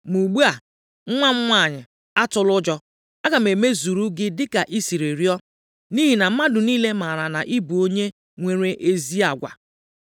Ma ugbu a, nwa m nwanyị, atụla ụjọ. Aga m emezuru gị dịka i si rịọọ, nʼihi na mmadụ niile maara na ị bụ onye nwere ezi agwa.